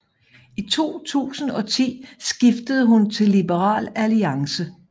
I 2010 skiftede hun til Liberal Alliance